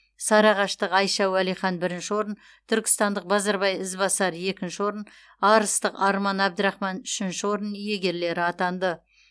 сарыағаштық айша уалихан бірінші орын түркістандық базарбай ізбасар екінші орын арыстық арман абдрахман үшінші орын иегерлері атанды